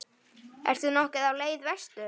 Ertu nokkuð á leið vestur?